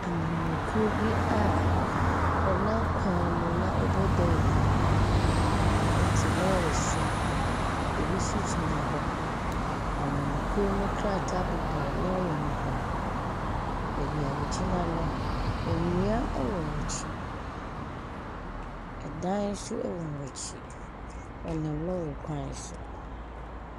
Amanyɔkuo bi a wɔnam kwan bu na wɔrebɔ dawuro. Wɔte lɔɔre so. Ɛbinso gyina hɔ. Amanyɔkuo no nkrataa bobɔ lɔɔre no ho. Baabi a wɔgyina no, nnua wɔ ɔn akyi. Ɛdan nso wɔ wɔn akyi. Wɔnam lɔɔre kwan so.